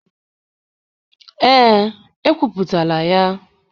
Ee, ekwuputala ya.